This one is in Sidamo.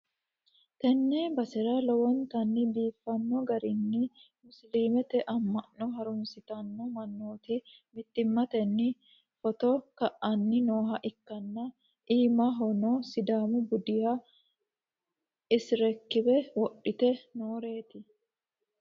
tenne basera lowontanni biifino garinni musiliimete amma'no harunsitanno mannooti mittimmatenni footo ka'anni nooha ikkanna, iimahono sidaamu budita isikeerbe wodhite nooreeti.